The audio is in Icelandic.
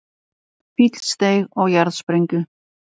Fíll steig á jarðsprengju